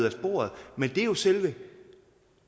af sporet men det er jo selve